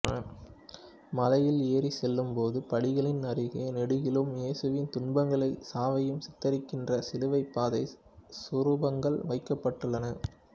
மலையில் ஏறிச் செல்லும்போது படிகளின் அருகே நெடுகிலும் இயேசுவின் துன்பங்களையும் சாவையும் சித்தரிக்கின்ற சிலுவைப் பாதை சுரூபங்கள் வைக்கப்பட்டுள்ளன